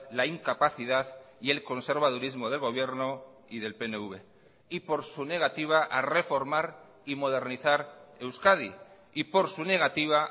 la incapacidad y el conservadurismo del gobierno y del pnv y por su negativa a reformar y modernizar euskadi y por su negativa